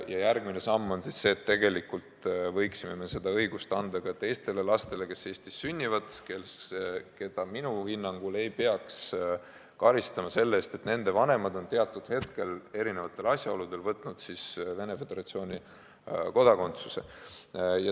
Ja järgmine samm on see, et tegelikult võiksime selle õiguse anda ka teistele lastele, kes Eestis sünnivad ja keda minu hinnangul ei peaks karistama selle eest, et nende vanemad on teatud hetkel erinevatel asjaoludel võtnud Venemaa Föderatsiooni kodakondsuse.